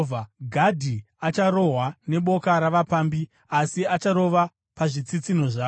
“Gadhi acharohwa neboka ravapambi, asi achavarova pazvitsitsinho zvavo.